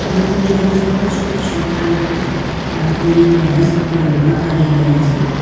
એ તમે જોઈ શકો છો કે છોકરા લોકો કોઈની ટેરેસ ઉપર યોગા કરી રહ્યા છે.